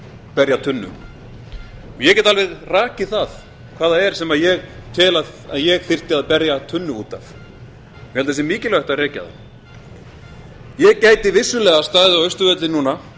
berja tunnu ég get alveg rakið það hvað það er sem ég tel að ég þyrfti að berja tunnu út af ég held að það sé mikilvægt að rekja það ég gæti vissulega staðið á austurvelli núna